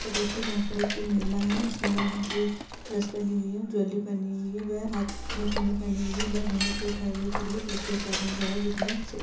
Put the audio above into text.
का द्रश्य है जहां पर एक महिला है जिसने लाल रंग की ड्रेस पहनी हुई है ज्वेलरी पहनी हुई है वे हाथ में चूड़ी पहनी हुयी है वे गुहगन्ट को उठाये हुए खड़ी है पीछे एक आदमी खड़ा है जिसने--